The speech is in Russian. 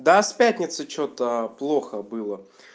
да в пятницу что-то плохо было